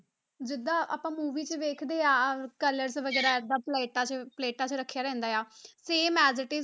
ਜਿੱਦਾਂ ਆਪਾਂ movie 'ਚ ਵੇਖਦੇ ਹਾਂ colours ਵਗ਼ੈਰਾ ਏਦਾਂ ਪਲੇਟਾਂ 'ਚ ਪਲੇਟਾਂ 'ਚ ਰੱਖਿਆ ਰਹਿੰਦਾ ਆ same as it is